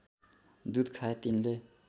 दूध खाए तिनले